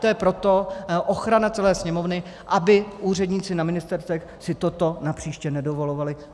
To je proto ochrana celé Sněmovny, aby úředníci na ministerstvech si toto napříště nedovolovali.